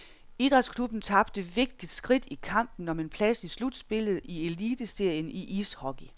Idrætsklubben tabte vigtigt skridt i kampen om en plads i slutspillet i eliteserien i ishockey.